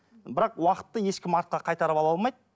бірақ уақытты ешкім артқа қайтарып ала алмайды